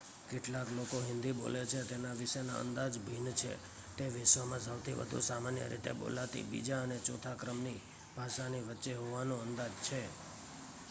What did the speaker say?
કેટલા લોકો હિન્દી બોલે છે તેના વિશેના અંદાજ ભિન્ન છે તે વિશ્વમાં સૌથી વધુ સામાન્ય રીતે બોલાતી બીજા અને ચોથા ક્રમની ભાષાની વચ્ચે હોવાનો અંદાજ છે